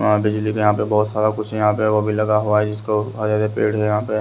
वहां बिजली पे यहां पे बहोत सारा कुछ यहां पे वो भी लगा हुआ है जिसको हरे हरे पेड़ है यहां पे--